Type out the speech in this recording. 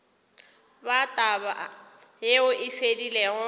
ba taba yeo e fedilego